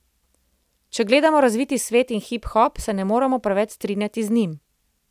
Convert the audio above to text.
Če gledamo razviti svet in hiphop, se ne moram preveč strinjati z njim.